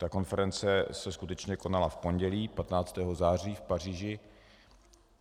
Ta konference se skutečně konala v pondělí 15. září v Paříži.